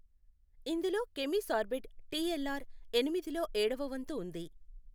ఇందులో కెమిసార్బెడ్ టిఎల్ఆర్ ఎనిమిది లో ఏడవ వంతు ఉంది.